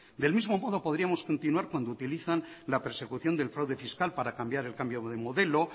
del mismo modo podríamos continuar cuando utilizan la persecución del fraude fiscal para cambiar el cambio de modelo